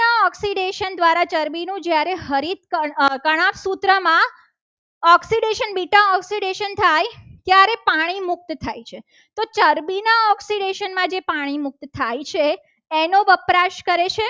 Oxidation દ્વારા ચરબીનું જ્યારે જ્યારે હરિતકણ તણાપ સૂત્રમાં ઓક્સિડેશન બીટા ઓક્સિડેશન થાય ત્યારે પાણી મુક્ત થાય છે તો ચરબીના ઓક્સિડેશન માં જે પાણી મુક્ત થાય છે. એનો વપરાશ કરે છે.